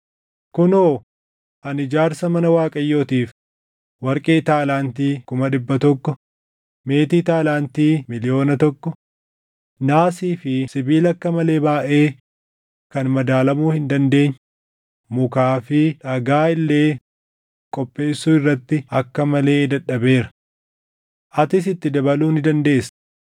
“Kunoo, ani ijaarsa mana Waaqayyootiif warqee taalaantii + 22:14 Taalaantiin tokko kiiloo giraamii 34. kuma dhibba tokko, meetii taalaantii miliyoona tokko, naasii fi sibiila akka malee baayʼee kan madaalamuu hin dandeenye, mukaa fi dhagaa illee qopheessuu irratti akka malee dadhabeera. Atis itti dabaluu ni dandeessa.